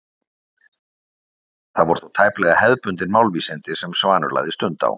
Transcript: Það voru þó tæplega hefðbundin málvísindi sem Svanur lagði stund á.